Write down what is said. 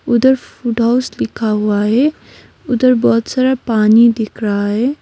उधर फूडोस लिखा हुआ है उधर बहोत सारा पानी दिख रहा है।